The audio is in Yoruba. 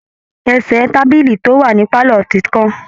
Ẹ̀sẹ̀ tábílì tó wà ní pálọ̀ ti kán